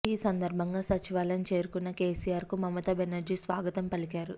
ఈ సందర్భంగా సచివాలయం చేరుకున్న కేసీఆర్కు మమతా బెనర్జీ స్వాగతం పలికారు